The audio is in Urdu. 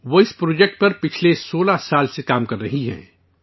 وہ اس پروجیکٹ پر گزشتہ 16 برسوں سے کام کر رہی ہیں